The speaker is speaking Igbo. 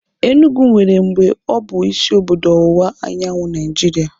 Enugu nwere mgbe ọ bụ isi obodo ọwụwa anyanwụ Naịjiria